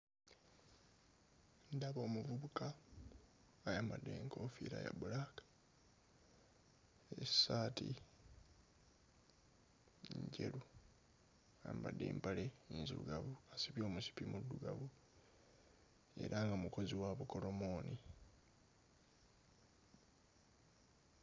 Ndaba omuvubuka ayambadde enkoofiira ya bbulaaka, essaati njeru, ayambadde empale nzirugavu, asibye omusipi muddugavu era nga mukozi wa bukolomooni.